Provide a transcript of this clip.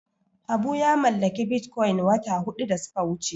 Habu ya mallaki Bitcoin wata huɗu da suka wuce.